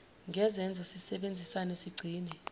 ngezenzo sisebenzisane sigcine